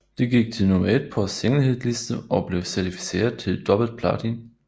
Det gik til nummer 1 på singlehitliste og blev certificeret til dobbelt platin